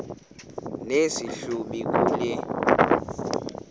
nesi hlubi kule